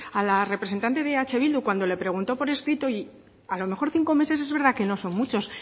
a la representante de eh bildu cuando le preguntó por escrito y a lo mejor cinco meses es verdad que no son muchos